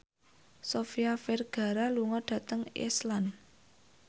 Sofia Vergara lunga dhateng Iceland